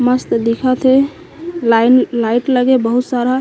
मस्त दिखत हे लाइन लाइट लगे हे बहुत सारा--